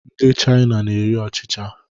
Ndị China na-eri ọchịcha